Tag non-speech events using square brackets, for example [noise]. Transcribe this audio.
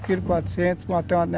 Um quilo e quatrocentos [unintelligible]